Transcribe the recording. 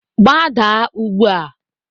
Gbadaa ugbu a!